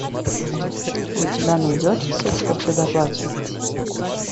у тебя найдется секс по предоплате